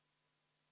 Aitäh sõna andmast!